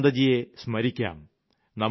ചന്ദ്രകാന്തജിയെ സ്മരിക്കാം